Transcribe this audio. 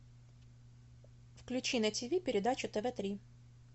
включи на ти ви передачу тв три